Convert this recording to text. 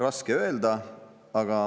Raske öelda.